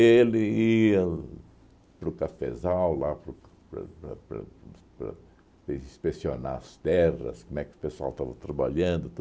ia para o cafezal lá para o para para para para inspecionar as terras, como é que o pessoal estava trabalhando.